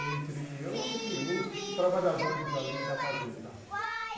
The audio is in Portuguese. entre os trabalhadores ali da fazenda.